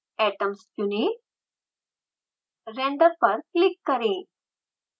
atoms चुनें render पर click करें